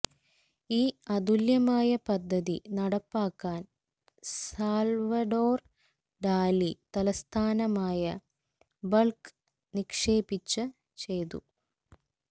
ഈ അതുല്യമായ പദ്ധതി നടപ്പാക്കാൻ സാൽവഡോർ ടാലി തലസ്ഥാനമായ ബൾക്ക് നിക്ഷേപിച്ച ചെയ്തു